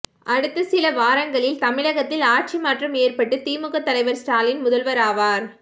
அடுத்த சில வாரங்களில் தமிழகத்தில் ஆட்சி மாற்றம் ஏற்பட்டு திமுக தலைவர் ஸ்டாலின் முதல்வராவார்